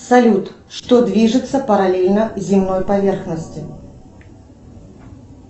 салют что движется параллельно земной поверхности